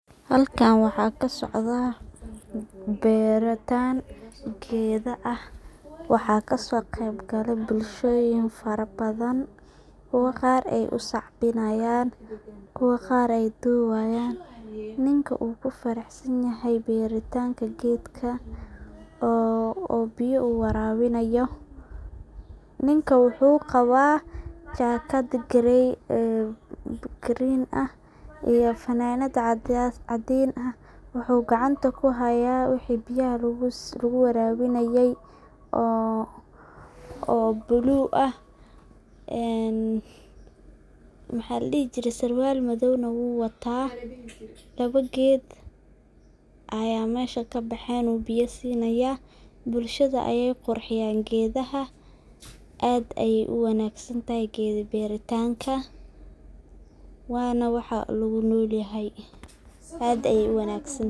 Halkan waxa kasocda beritan oo beero ah waxa kaso qeyb galay bulshoyin fara badan, qaar ay u sacbinayan, kuwa qaar ay dubayan oo ku farax sanyihin beritanka gedka oo u biyo warabinayo ninka wuxu qaba jakaad green ah iyo funadad cadin ah .wuxu gacanta ku haya bahalki oo biyaha lagu warabinaye oo bulug ah ee sarwal madowna uu wataa ,laba geed aya mesha kabahen u biyo sinaya. Bulshada ayey qurxiyan gedaha aad ayey u wanag santahay geda beritanka waana waxa lagu nool yahay ,aad ayey u wanagsantahay.